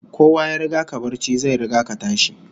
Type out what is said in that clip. Kowa ya riga ka barci, zai riga ka tashi